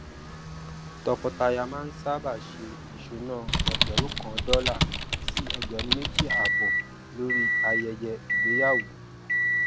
tọkọtaya máa ń sábà ṣe ìṣúná ẹgbẹrún kan dọlà sí ẹgbẹrún mẹjì àbọ lórí ayẹyẹ ìgbéyàwó